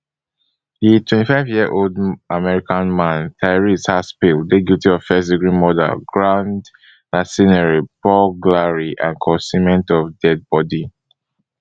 di twenty-fiveyearold american man tyrese haspil dey guilty of firstdegree murder grand larceny burglary and concealment of deadibodi